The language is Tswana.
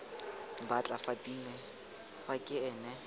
batla fatima fa ke ene